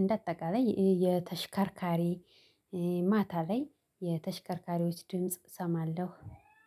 እንደ አጠቃላይ የተሽከርካሪ ማታ ላይ የተሽከርካሪዎች ድምጽ እሰማለሁ።